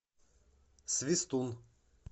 свистун